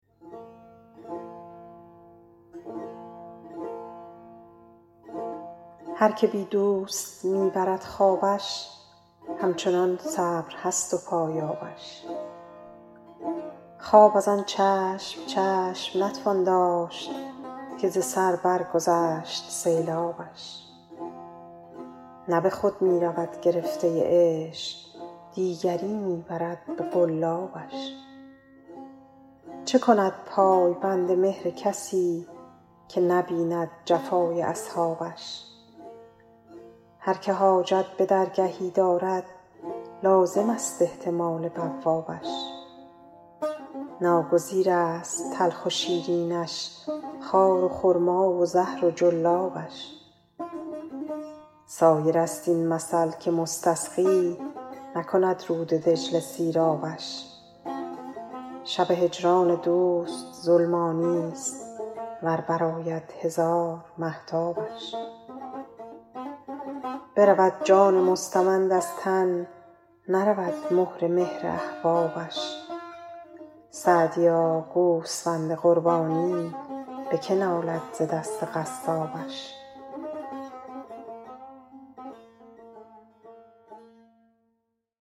هر که بی دوست می برد خوابش همچنان صبر هست و پایابش خواب از آن چشم چشم نتوان داشت که ز سر برگذشت سیلابش نه به خود می رود گرفته عشق دیگری می برد به قلابش چه کند پای بند مهر کسی که نبیند جفای اصحابش هر که حاجت به درگهی دارد لازمست احتمال بوابش ناگزیرست تلخ و شیرینش خار و خرما و زهر و جلابش سایرست این مثل که مستسقی نکند رود دجله سیرابش شب هجران دوست ظلمانیست ور برآید هزار مهتابش برود جان مستمند از تن نرود مهر مهر احبابش سعدیا گوسفند قربانی به که نالد ز دست قصابش